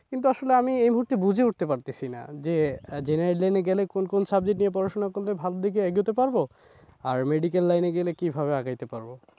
কিন্তু আসলে আমি এই মুহুর্তে ঠিক বুঝে উঠতে পারতেসিনা যে general line এ গেলে কোন কোন subject নিয়ে পড়াশোনা করলে ভালো দিকে এগাতে পারবো আর medical line এ গেলে কিভাবে আগাইতে পারবো?